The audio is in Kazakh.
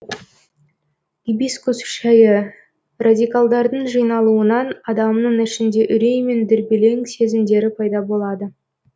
гибискус шәйі радикалдардың жиналуынан адамның ішінде үрей мен дүрбелең сезімдері пайда болады